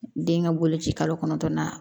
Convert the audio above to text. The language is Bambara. Den ka boloci kalo kɔnɔntɔn na